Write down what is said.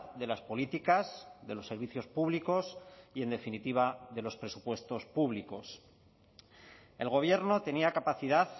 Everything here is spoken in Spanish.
de las políticas de los servicios públicos y en definitiva de los presupuestos públicos el gobierno tenía capacidad